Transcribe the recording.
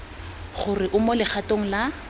gore o mo legatong la